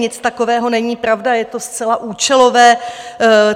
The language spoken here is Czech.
Nic takového není pravda, je to zcela účelové.